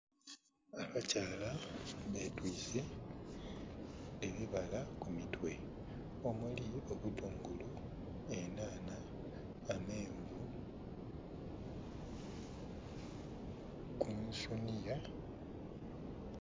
Abakyala betwise ebibala kumitwe omuli ebitungulu, enhanha, ameenvu kunsuunhiya.